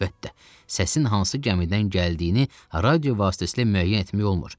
Əlbəttə, səsin hansı gəmidən gəldiyini radio vasitəsilə müəyyən etmək olmur.